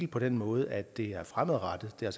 på den måde at det er fremadrettet det er